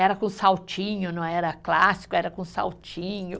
Era com saltinho, não era clássico, era com saltinho.